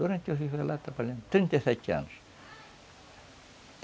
Durante trinta e sete anos.